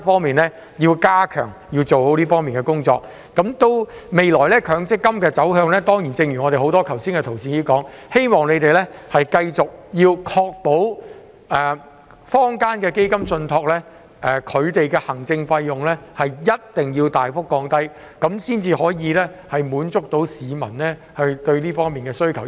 至於強積金的未來走向，誠如剛才多位同事所說，希望政府會繼續確保坊間的基金受託人的行政費用必須大幅降低，這樣才可以回應市民的訴求。